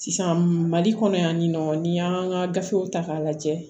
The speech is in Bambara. Sisan mali kɔnɔ yan nɔ n'i y'an ka gafew ta k'a lajɛ